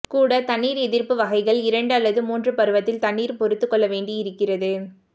கூட தண்ணீர் எதிர்ப்பு வகைகள் இரண்டு அல்லது மூன்று பருவத்தில் தண்ணீர் பொறுத்துக்கொள்ள வேண்டியிருக்கிறது